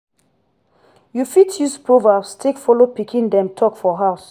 you fit use proverbs take follow pikin dem talk for house